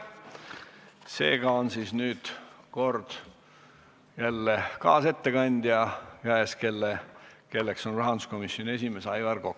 Seega on kord jälle kaasettekandja käes, kelleks on rahanduskomisjoni esimees Aivar Kokk.